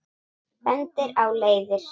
Bendir á leiðir.